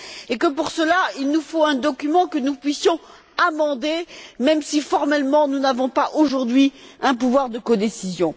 Et, pour cela, il nous faut un document que nous puissions amender, même si, formellement, nous n'avons pas aujourd'hui un pouvoir de codécision.